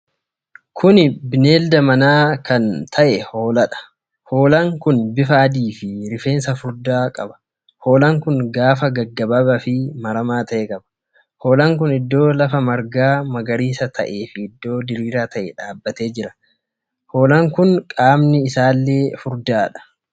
Kuni Bineelda mana kan ta'e hoolaadha. Hoolaan kun bifa adiifii rifeensa furdaa qaba. Hoolaan kun gaafa gaggabaabaa fi maramaa ta'e qaba. Hoolaan kun iddoo lafa margaa magariisa ta'ee fi iddoo diriiraa ta'e dhaabatee jira. Hoolaan kun qaamni isaallee furdaadha.